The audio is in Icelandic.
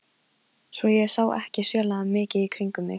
Svo ég sá ekki sérlega mikið í kringum mig.